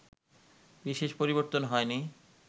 বিশেষ পরিবর্তন হয়নি